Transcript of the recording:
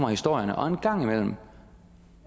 og historierne og en gang imellem